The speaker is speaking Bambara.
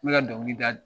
N bɛ ka dɔnkili da